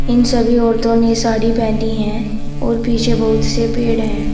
इन सभी औरतों ने साड़ी पहनी है और पीछे बहुत से पेड़ हैं।